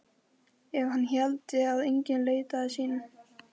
Ef hann héldi að enginn leitaði sín.